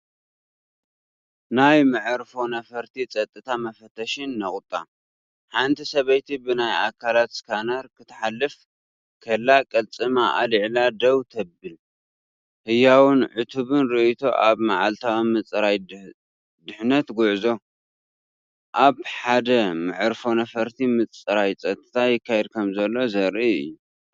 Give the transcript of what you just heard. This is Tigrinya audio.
ናይ መዓርፎ ነፈርቲ ጸጥታ መፈተሺ ነቑጣ። ሓንቲ ሰበይቲ ብናይ ኣካላት ስካነር ክትሓልፍ ከላ ቅልጽማ ኣልዒላ ደው ትብል። ህያውን ዕቱብን ርእይቶ ኣብ መዓልታዊ ምጽራይ ድሕነት ጉዕዞ። ኣብ ሓደ መዕርፎ ነፈርቲ ምጽራይ ጸጥታ ይካየድ ከምዘሎ ዘርኢ እዩ።